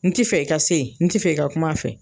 N ti fɛ i ka se ye, n ti fɛ i ka kum'a fɛ.